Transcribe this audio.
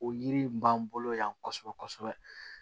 O yiri in b'an bolo yan kosɛbɛ kosɛbɛ